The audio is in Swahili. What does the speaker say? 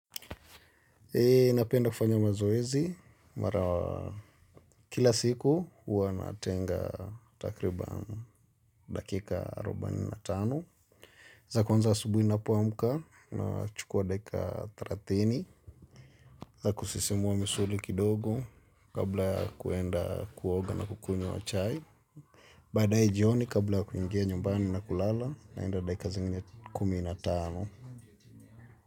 Hey napenda kufanya mazoezi mara kila siku huwa natenga takriban dakika arubani na tano. Za kwanza asubuhi ninapoamka nachukua daika thelathini. Za kusisimua misuli kidogo kabla ya kuenda kuoga na kukunywa chai. Baadaye jioni kabla ya kuingia nyumbani na kulala naenda daika zingine kumi na tano.